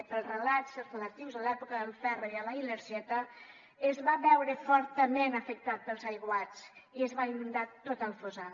pels relats relatius a l’època del ferro i a la ilergeta es va veure fortament afectat pels aiguats i es va inundar tot el fossar